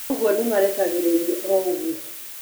Ũguo nĩmarekagĩrĩrio o ũguo